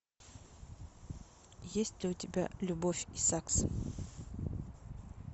есть ли у тебя любовь и сакс